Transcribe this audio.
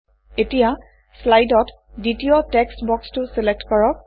এতিয়া শ্লাইডত দ্বিতীয় টেক্স বক্সটো চিলেক্ট কৰক